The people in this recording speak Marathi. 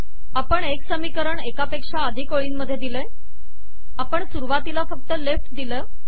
आपण एक समीकरण एकापेक्षा अधिक ओळींमधे दिले आहे आपण सुरुवातीला फक्त लेफ्ट दिले आहे